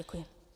Děkuji.